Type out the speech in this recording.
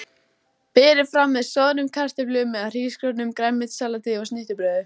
Voru þar sýndar á annað hundrað kvikmyndir hvaðanæva úr heiminum.